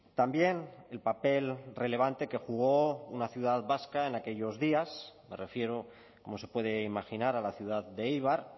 también el papel relevante que jugó una ciudad vasca en aquellos días me refiero como se puede imaginar a la ciudad de éibar